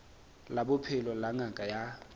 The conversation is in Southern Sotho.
la bophelo la ngaka ya